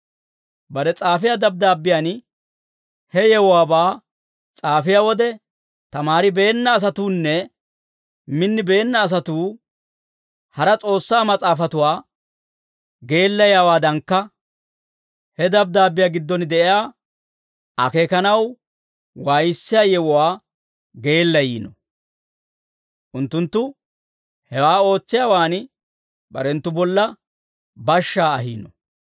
Bare s'aafiyaa dabddaabbiyaan, he yewuwaabaa s'aafiyaa wode, tamaaribeenna asatuunne minnibeenna asatuu hara S'oossaa Mas'aafatuwaa geellayiyaawaadankka, he dabddaabbiyaa giddon de'iyaa akeekanaw waayissiyaa yewuwaa geellayiino. Unttunttu hewaa ootsiyaawaan barenttu bolla bashshaa ahiino.